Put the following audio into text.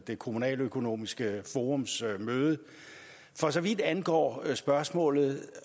det kommunaløkonomiske forums møde for så vidt angår spørgsmålet